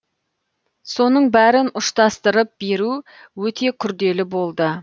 соның бәрін ұштастырып беру өте күрделі болды